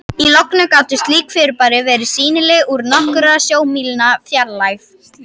Í logni gátu slík fyrirbæri verið sýnileg úr nokkurra sjómílna fjarlægð.